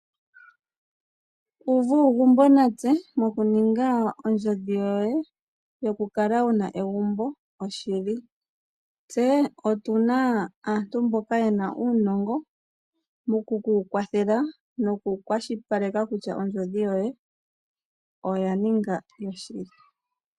Uva uugumbo natse moku ninga ondjodhi yoye yokukala wuna egumbo yoshili. Tse otuna aantu mboka ye na uunongo mo ku ku kwathelwa noku kwashilipaleka kutya ondjodhi yoye oya ninga yoshili.